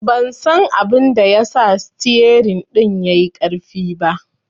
Ban san abinda ya sa sitiyerin ɗin yai ƙarfi ba